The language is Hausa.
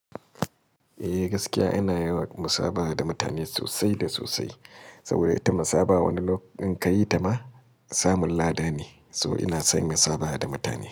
Eh gaskiya ina yawan musabaha da mutane sosai da sosai, saboda ita musabaha wani lokacin ka yi tama samun lada ne. So ina son musabaha da mutane.